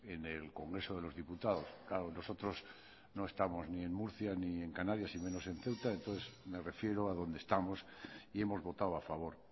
en el congreso de los diputados claro nosotros no estamos ni en murcia ni en canarias y menos en ceuta entonces me refiero a donde estamos y hemos votado a favor